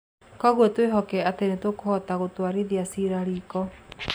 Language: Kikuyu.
Kwoguo twĩhokete atĩ nĩ tũkahota kũmũtwarithia ciira riiko".